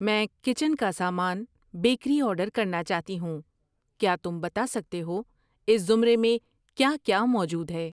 میں کچن کا سامان, بیکری آرڈر کرنا چاہتی ہوں، کیا تم بتا سکتے ہو اس زمرے میں کیا کیا موجود ہے؟